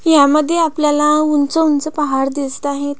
ह्या मध्ये आपल्याला उंच उंच पहाड दिसत आहेत.